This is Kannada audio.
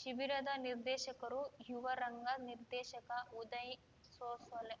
ಶಿಬಿರದ ನಿರ್ದೇಶಕರು ಯುವ ರಂಗ ನಿರ್ದೇಶಕ ಉದಯ್‌ ಸೋಸಲೆ